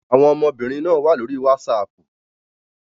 Àwọn ọmọbìnrin náà wà lórí WhatsApp.